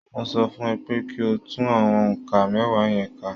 Mo sọ fún ẹ pé kí o tún àwọn nǹkan mẹ́wàá yẹn ká